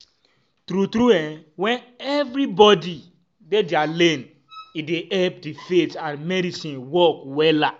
tru tru eh wen everybodi dey dia lane e dey epp di faith and medicine work wella